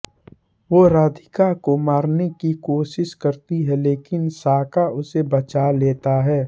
वो राधिका को मारने की कोशिश करती है लेकिन शाका उसे बचा लेता है